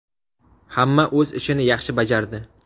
Hamma o‘z ishini yaxshi bajardi.